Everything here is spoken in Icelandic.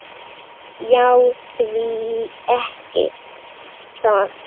Já, því ekki það.